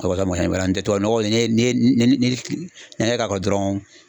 walama mɔgɔ caman ki balo ala n tɛ tubabunɔgɔ n'i ye n'i ye ni ni an gɛrɛ k'a kɔrɔ dɔrɔn